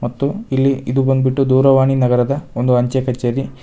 ಮತ್ತು ಇಲ್ಲಿ ಇದು ಬಂದ್ಬಿಟ್ಟು ದೂರವಾಣಿ ನಗರದ ಒಂದು ಅಂಚೆ ಕಚೇರಿ ಇಲ್--